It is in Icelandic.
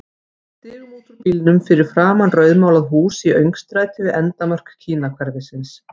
Við stigum út úr bílnum fyrir framan rauðmálað hús í öngstræti við endamörk Kínahverfisins.